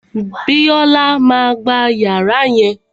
Bíọ́là má a gba yàrá yẹn